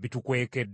bitukwekeddwa.